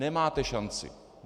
Nemáte šanci.